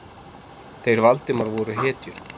Þeir Valdimar voru hetjur.